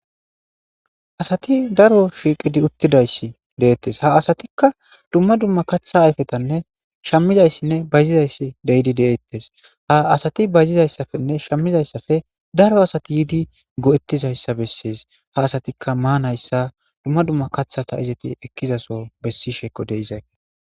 asati daro shiiqidi uttidayssi deettes ha asatikka dumma dumma katha ayfetanne shammizayssinne bayzizayssi deyidi deettes ha asati bayzizayssafenne shammizayssafe daro asati yiidi go7ettizayssa bessees ha asatikka maanayssa dumma dumma kathata izeti ekkizaso bessisheko deizake